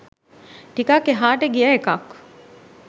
ටිකක් එහාට ගිය එකක්.